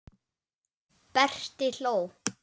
Berti hló.